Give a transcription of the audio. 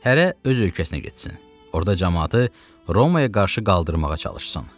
Hərə öz ölkəsinə getsin, orada camaatı Romaya qarşı qaldırmağa çalışsın.